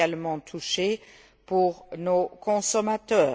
menacé pour nos consommateurs.